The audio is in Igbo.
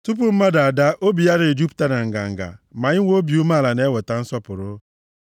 Tupu mmadụ adaa obi ya na-ejupụta na nganga, ma inwe obi umeala na-eweta nsọpụrụ.